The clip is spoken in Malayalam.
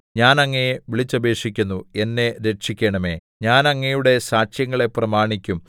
ഞാൻ അങ്ങയെ വിളിച്ചപേക്ഷിക്കുന്നു എന്നെ രക്ഷിക്കണമേ ഞാൻ അങ്ങയുടെ സാക്ഷ്യങ്ങളെ പ്രമാണിക്കും